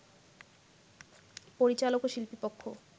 পরিচালক ও শিল্পী পক্ষ